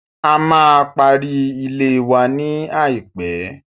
A máa pari ilée wa ní àìpé.